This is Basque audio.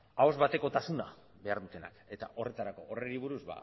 ahoz batekotasuna behar dutenak eta horretarako horri buruz